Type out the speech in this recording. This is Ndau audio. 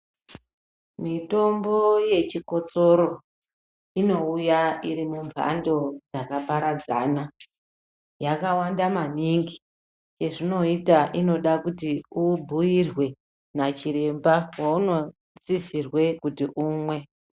Mitombo yechikotsoro, inouya iri mumphando dzakaparadzana. Yakawanda maningi, chezvinoita inoda kuti ubhuirwe, nachiremba ,waunosisirwe kuti umwe.